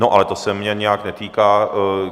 No ale to se mě nějak netýká.